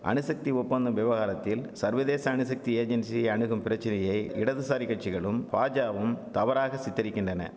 அணுசக்தி ஒப்பந்தம் விவகாரத்தில் சர்வதேச அணுசக்தி ஏஜென்சி அணுகும் பிரச்சனையை இடதுசாரி கட்சிகளும் பாஜாவும் தவறாக சித்தரிக்கின்றன